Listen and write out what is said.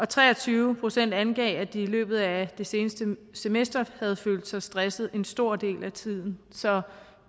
tre og tyve procent angav at de i løbet af det seneste semester havde følt sig stressede en stor del af tiden så